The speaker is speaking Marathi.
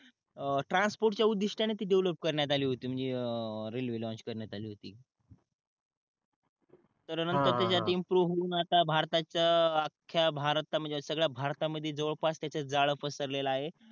अं ट्रान्सपोर्ट च्या उद्दिष्टाने ती डेव्हलप करण्यात आली होती म्हणजे रेलवे लाँच करण्यात आली होती त्याच्यानंतर त्याच्यात इमप्रूव होवून भारताच अख्या भारताच म्हणजे सगळ्या भारतामध्ये जवळपास त्याचे जाळे पसरले आहे